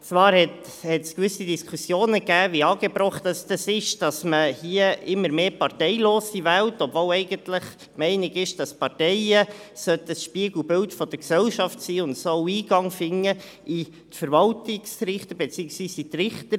Zwar gab es gewisse Diskussionen darüber, wie angebracht es ist, dass man hier immer mehr Parteilose wählt, obwohl eigentlich die Meinung ist, dass Parteien das Spiegelbild der Gesellschaft sein und Eingang in die Richterämter finden sollen.